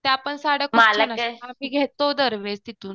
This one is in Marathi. त्या पण सद्य खूप छान असतात आम्ही घेतो दरवेळेस तिथून.